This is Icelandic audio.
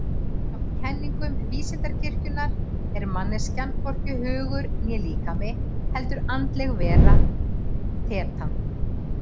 Samkvæmt kenningum Vísindakirkjunnar er manneskjan hvorki hugur né líkami heldur andleg vera, þetan.